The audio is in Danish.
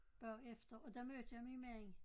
Bagefter og der mødte jeg min mand